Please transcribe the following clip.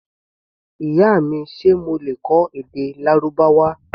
Ìyá mi, ṣe mo lè kọ́ èdè Lárúbáwá?